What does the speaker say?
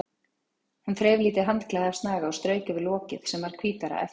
Hún þreif lítið handklæði af snaga og strauk yfir lokið sem varð hvítara á eftir.